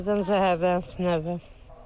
Dönərdən zəhərlənib, nə bilim.